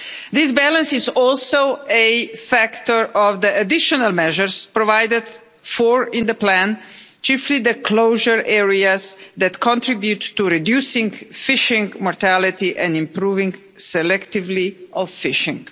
This balance is also a factor of the additional measures provided for in the plan, chiefly the closure areas that contribute to reducing fishing mortality and improving selectivity of fishing.